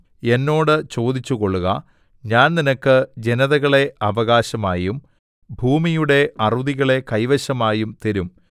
എന്നോട് ചോദിച്ചുകൊള്ളുക ഞാൻ നിനക്ക് ജനതകളെ അവകാശമായും ഭൂമിയുടെ അറുതികളെ കൈവശമായും തരും